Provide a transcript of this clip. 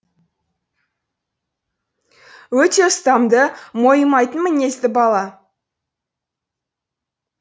өте ұстамды мойымайтын мінезді бала